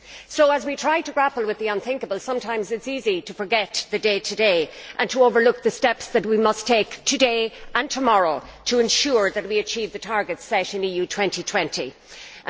So as we try to grapple with the unthinkable, sometimes it is easy to forget the day to day and to overlook the steps that we must take today and tomorrow to ensure that we achieve the targets set in the EU 2020 Strategy.